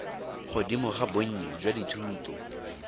godimo ga bonnye jwa dithuto